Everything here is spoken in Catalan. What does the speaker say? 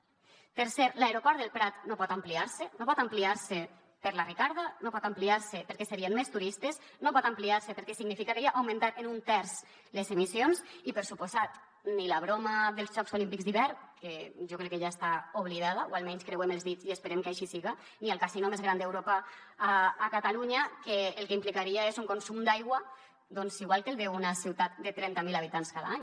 tercer l’aeroport del prat no pot ampliar se no pot ampliar se per la ricarda no pot ampliar se perquè serien més turistes no pot ampliar se perquè significaria augmentar en un terç les emissions i per descomptat ni la broma dels jocs olímpics d’hivern que jo crec que ja està oblidada o almenys creuem els dits i esperem que així siga ni el casino més gran d’europa a catalunya que el que implicaria és un consum d’aigua doncs igual que el d’una ciutat de trenta mil habitants cada any